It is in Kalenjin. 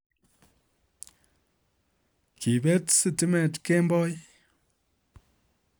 Kiipet sitimet kemboii